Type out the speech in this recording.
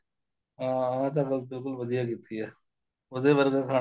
ਹਾਂ ਹਾਂ ਇਹ ਤਾਂ ਗੱਲ ਬਿਲਕੁਲ ਵਧੀਆ ਕੀਤੀ ਏ ਉਸਦੇ ਬਾਰੇ ਤਾਂ ਸਾਨੂੰ